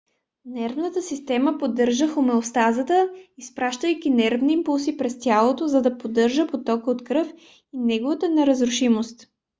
нервната система поддържа хомеостазата изпращайки нервни импулси през тялото за да поддържа потока от кръв и неговата неразрушимост